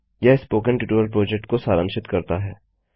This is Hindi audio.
यह स्पोकन ट्यूटोरियल प्रोजेक्ट को सारांशित करता है